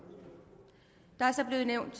der er så blevet nævnt